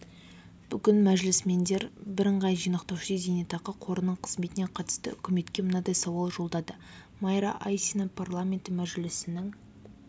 бүгін мәжілісмендер бірыңғай жинақтаушы зейнетақы қорының қызметіне қатысты үкіметке мынадай сауал жолдады майра айсина парламенті мәжілісінің